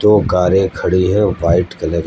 दो कारें खड़ी हैं वाइट कलर --